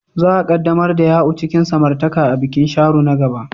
Za a ƙaddamar da Ya'u cikin samartaka a bikin Sharo na gaba.